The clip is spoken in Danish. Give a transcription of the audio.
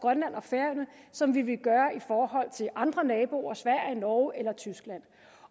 grønland og færøerne som vi ville gøre i forhold til andre naboer sverige norge eller tyskland